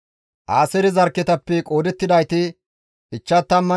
Aaseere zarkketappe qoodettidayti 53,400 addeta.